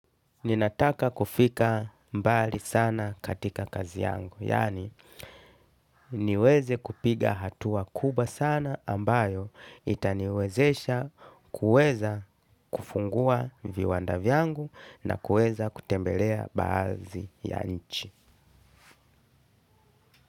Ninataka kufika mbali sana katika kazi yangu. Yaani niweze kupiga hatua kubwa sana ambayo itaniwezesha kuweza kufungua viwanda vyangu na kuweza kutembelea baadhi ya nchi.